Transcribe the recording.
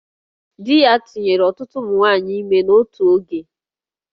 Di ya tụnyere ọtụtụ ụmụ nwaanyị ime n'otu oge